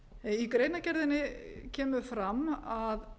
í greinargerðinni kemur fram að